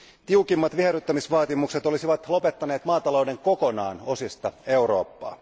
Tiukimmat viherryttämisvaatimukset olisivat lopettaneet maatalouden kokonaan osista Eurooppaa.